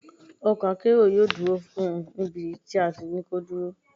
Ọkọ̀ akérò yóò dúró níbi tí a fún láti dúró.